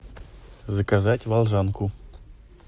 заказать волжанку